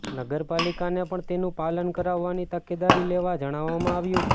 નગર પાલિકાને પણ તેનું પાલન કરાવવાની તકેદારી લેવા જણાવવામાં આવ્યું છે